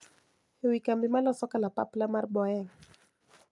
E wi kambi maloso kalapapla mar Boeing.